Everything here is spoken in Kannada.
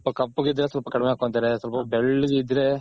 ಕಪ್ಪಗ್ ಇದ್ರೆ ಕಡಮೆ ಹಕೊತಾರೆ ಸ್ವಲ್ಪ ಬೆಲ್ಲ್ಗ್ ಇದ್ರೆ .